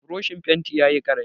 Burushin fentin yayi ƙarami.